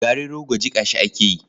Garin rogo jiƙa shi ake yi.